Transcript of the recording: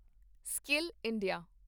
skill India